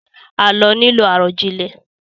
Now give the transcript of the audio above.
Àlọ́ nílò àròjinlẹ̀